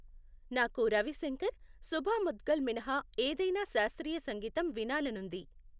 నాకు రవి శంకర్, శుభా ముద్గల్ మినహా ఏదైనా శాస్త్రీయ సంగీతం వినాలనుంది